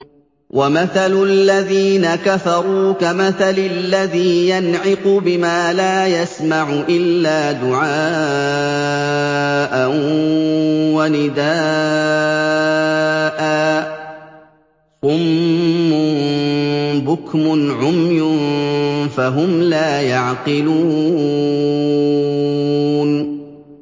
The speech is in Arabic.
وَمَثَلُ الَّذِينَ كَفَرُوا كَمَثَلِ الَّذِي يَنْعِقُ بِمَا لَا يَسْمَعُ إِلَّا دُعَاءً وَنِدَاءً ۚ صُمٌّ بُكْمٌ عُمْيٌ فَهُمْ لَا يَعْقِلُونَ